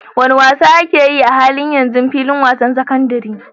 Wane wasa ake yi a halin yanzu a filin wasa na sakandaren?